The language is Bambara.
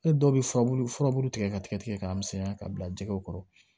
Ne dɔw bɛ furabulu furabulu tigɛ ka tigɛ tigɛ k'a misɛnya k'a bila jɛgɛw kɔrɔ